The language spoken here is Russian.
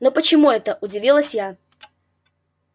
но почему это удивилась я